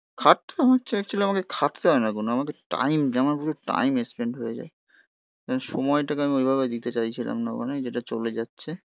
খাটতে হচ্ছে অ্যাকচুয়েলি আমাকে খাটতে হয় না কোনো. আমাদের টাইম যে আমার পুরো টাইম এক্সপেন্ড হয়ে যায়. সময়টাকে আমি ঐভাবে দিতে চাইছিলাম না ওখানে. যেটা চলে যাচ্ছে.